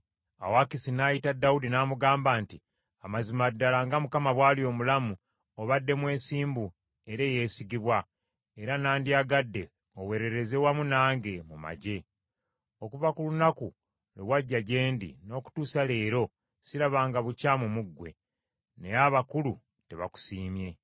Awo Akisi n’ayita Dawudi n’amugamba nti, “Amazima ddala nga Mukama bw’ali omulamu, obadde mwesimbu era eyeesigibwa, era nandyagadde oweerereze wamu nange mu magye. Okuva ku lunaku lwe wajja gye ndi n’okutuusa leero sirabanga bukyamu mu ggwe, naye abakulu tebakusiimye.